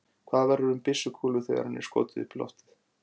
Hvað verður um byssukúlu þegar henni er skotið upp í loftið?